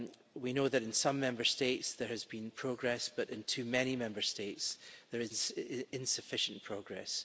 We know that in some Member States there has been progress, but in too many Member States there is insufficient progress.